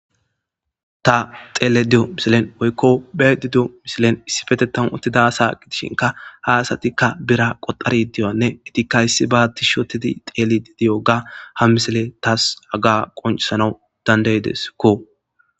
ta xeele diyo misilen woykko be di diyo misilen issifete tam ottidasa gidishinka haasatikka bira qoxari diyanne itikka issi baatti shotedi xeeli di diyoga ha misile taas aga qoncisanawu dandaydeskko